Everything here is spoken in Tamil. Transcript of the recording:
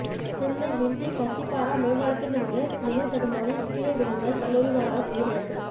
சென்னை கிண்டி கத்திப்பாரா மேம்பாலத்திலிருந்து நிலை தடுமாறி கீழே விழுந்த கல்லூரி மாணவர் உயிரிழப்பு